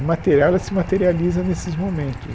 A material ela se materializa nesses momentos.